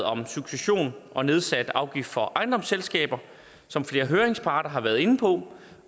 om succession og nedsat afgift for ejendomsselskaber som flere høringsparter har været inde på